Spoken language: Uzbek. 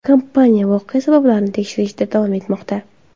Kompaniya voqea sabablarini tekshirishda davom etmoqda.